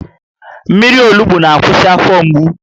Mmiri olugbu na-akwụsị afọ mgbu